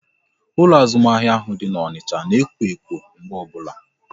Ụlọ azụmahịa ahụ dị n'Onicha na ekwo ekwo mgbe ọbụla